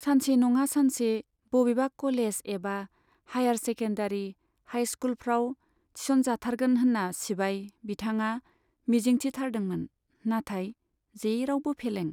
सानसे नङा सानसे बबेबा कलेज एबा हाइयार सेकेन्डारी, हाइस्कुलफ्राव थिसनजाथारगोन होन्ना सिबाय बिथांआ मिजिंथिथारदोंमोन, नाथाय जेरावबो फेलें।